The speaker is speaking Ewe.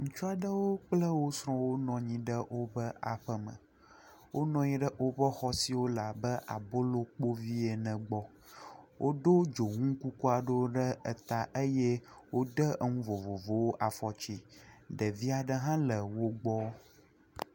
Ŋutsu aɖe kple wò srɔ̃wo nɔ anyi ɖe woa ƒe me. Wonɔ anyi ɖe wòƒe xɔ si le abe abolokpoʋi ene le egbɔ. Woɖo dzonu kuku aɖe ɖe eta eye wode enu vovovowo afɔtsi. Ɖevia ɖe hã le wògbɔ.